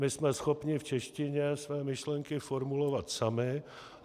My jsme schopni v češtině své myšlenky formulovat sami.